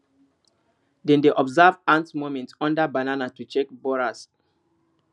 dem dey observe ant movement under banana to track borers